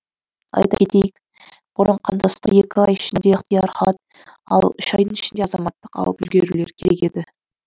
айта кетейік бұрын қандастар екі ай ішінде ықтияр хат ал үш айдың ішінде азаматтық алып үлгерулері керек еді